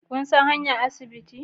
Kun san hanyar asibiti